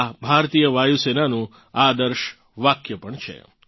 આ ભારતીય વાયુસેનાનું આદર્શ વાક્ય પણ છે